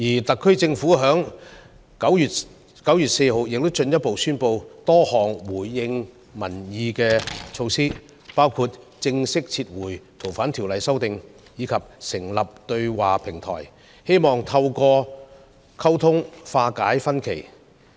特區政府在9月4日進一步宣布多項回應民意的措施，包括正式撤回《逃犯條例》的修訂建議，以及成立對話平台，希望透過溝通化解分歧。